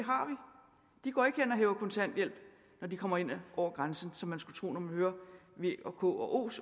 de går ikke hen og hæver kontanthjælp når de kommer ind over grænsen som man skulle tro når man hører v og k og